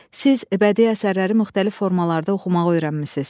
Siz bədii əsərləri müxtəlif formalarda oxumağı öyrənmisiniz.